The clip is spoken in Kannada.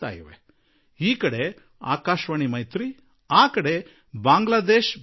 ಹೀಗಾಗಿ ಈ ಕಡೆ ಆಕಾಶವಾಣಿ ಮೈತ್ರಿ ಮತ್ತು ಆ ಕಡೆ ಬಾಂಗ್ಲಾ ದೇಶ್ ಬೇತಾರ್